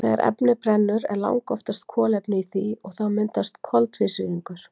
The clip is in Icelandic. Þegar efni brennur er langoftast kolefni í því og þá myndast koltvísýringur.